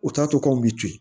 U t'a to k' aw bɛ to yen